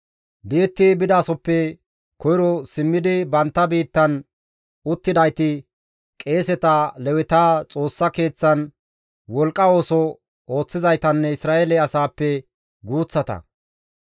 Di7etti bidasoppe Koyro simmidi bantta biittan uttidayti qeeseta, Leweta, Xoossa Keeththan wolqqa ooso ooththizaytanne Isra7eele asaappe guuththata.